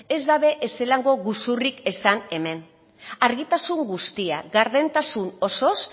ez dabe ezelango guzurrik esan hemen argitasun guztia gardentasun osoz